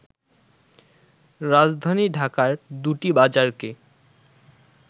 রাজধানী ঢাকার দুটি বাজারকে